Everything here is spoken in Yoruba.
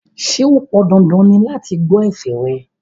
Ṣé ó pon dandan ni láti gbọ́ ẹ̀fẹ̀ rẹ̀?